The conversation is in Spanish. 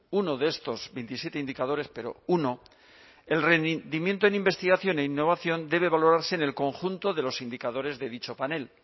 uno de estos veintisiete indicadores pero uno el rendimiento en investigación e innovación debe valorarse en el conjunto de los indicadores de dicho panel